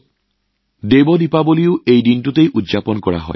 এই দিনটোত দেৱ দীপাৱলীও পালন কৰা হয়